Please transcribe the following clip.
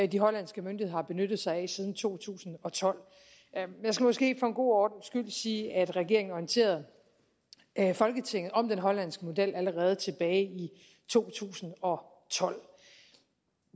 de hollandske myndigheder har benyttet sig af siden to tusind og tolv jeg skal måske for en god ordens skyld sige at regeringen orienterede folketinget om den hollandske model allerede tilbage i to tusind og tolv